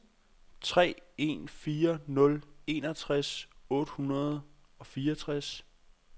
tre en fire nul enogtres otte hundrede og fireogtres